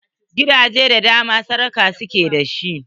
Gidaje da dama, sarga su ke da shi.